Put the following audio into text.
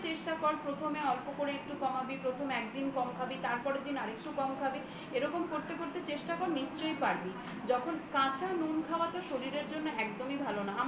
চেষ্টা কর প্রথমে অল্প করে একটু কমাবি প্রথমে একদিন একটু কম খাবি তারপরের দিন আরেকটু কম খাবি এরকম করতে করতে চেষ্টা কর নিশ্চয়ই পারবি যখন কাঁচা নুন খাওয়াতো শরীরের পক্ষে একদমই ভালো না